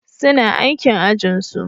Suna aikin ajinsu.